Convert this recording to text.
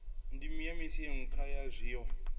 ndeme kha miaisano ya zwiko